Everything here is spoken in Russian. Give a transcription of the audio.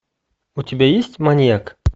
у тебя есть маньяк